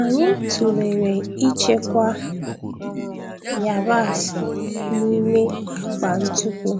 Anyị tụlere ịchekwa yabasị n'ime akpa ntupu